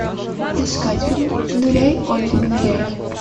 искать фильм ныряй олли ныряй